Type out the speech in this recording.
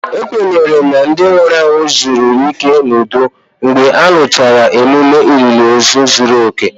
A kwenyere na ndị nwụrụ anwụ zuru ike n'udo mgbe a rụchara ememe olili ozu zuru oke